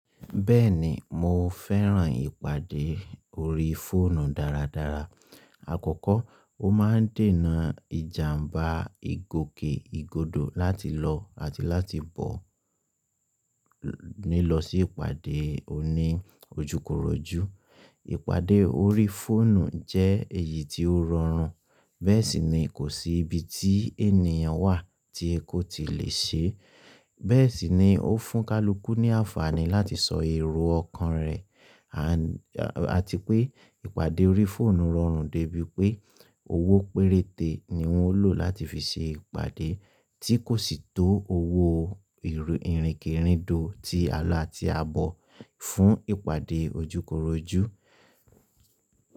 Bẹ́ẹ̀ni mo fẹ́ràn ìpàdé orí fóònù dáradára. Àkọ́kọ́, ó máa ń dènà ìjàmbá ìgòkè ìgodo láti lọ àti láti bọ̀ nílọ̀ sí ìpàdé òní ojúkorojú. Ìpàdé orí fóònù jẹ́ èyí tí ó rọrùn, bẹ́ẹ̀ sì ni kò sí ibi tí ènìyàn wà tí ẹ́ kò tí lè ṣe é, bẹ́ẹ̀ sì ni ó fún kaluku ní àǹfààní láti sọ èrò ọkàn rẹ̀, àti pé ìpàdé orí fóònù rọrùn dé bi pé owó péréte ni wọ́n lò láti fi ṣe ìpàdé tí kò sì tó owó ìrìnkèrindò ti àlọ́ àti àbọ̀ fún ìpàdé ojúkorojú.